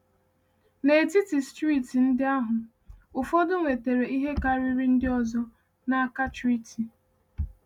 N’etiti steeti ndị ahụ, ụfọdụ nwetara ihe karịrị ndị ọzọ n’aka treaty.